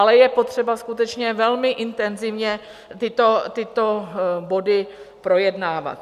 Ale je potřeba skutečně velmi intenzivně tyto body projednávat.